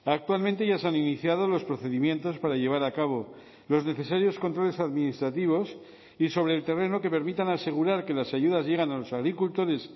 actualmente ya se han iniciado los procedimientos para llevar a cabo los necesarios controles administrativos y sobre el terreno que permitan asegurar que las ayudas llegan a los agricultores